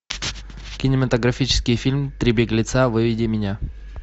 кинематографический фильм три беглеца выведи меня